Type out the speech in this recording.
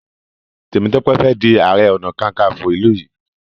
Temitope Fè dì aré ọnà kankanfo ilú yí.